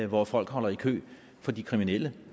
hvor folk holder i kø for de kriminelle